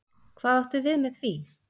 Hvað áttu við með því?